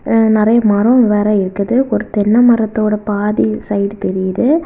நறைய மரம் வேற இருக்குது ஒரு தென்னை மரத்தோட பாதி சைட் தெரியுது.